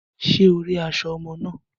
Ṣe o ri aṣọ ọmọ náà?